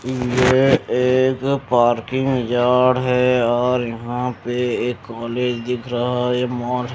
यह एक parking yard है और यहां पे एक कॉलेज दिख रहा है मोर --